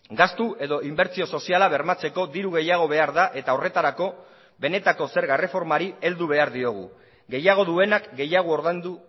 gastu edo inbertsio soziala bermatzeko diru gehiago behar da eta horretarako benetako zerga erreformari heldu behar diogu gehiago duenak gehiago ordaindu